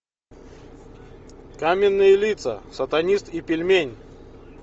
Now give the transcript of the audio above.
каменные лица сатанист и пельмень